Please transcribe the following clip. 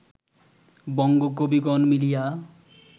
বঙ্গ কবিগণ মিলিয়া